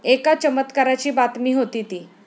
एका चमत्काराची बातमी होती ती.